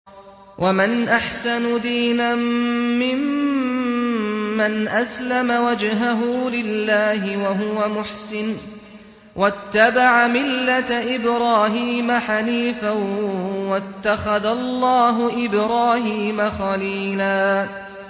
وَمَنْ أَحْسَنُ دِينًا مِّمَّنْ أَسْلَمَ وَجْهَهُ لِلَّهِ وَهُوَ مُحْسِنٌ وَاتَّبَعَ مِلَّةَ إِبْرَاهِيمَ حَنِيفًا ۗ وَاتَّخَذَ اللَّهُ إِبْرَاهِيمَ خَلِيلًا